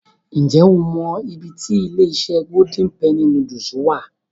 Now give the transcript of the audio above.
Ǹ jẹ́ o mọ I tí ilé-iṣẹ́ Golden penny noodles wà.